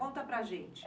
Conta para gente.